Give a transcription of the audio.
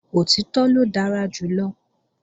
Òtítọ́ ló dára jù lọ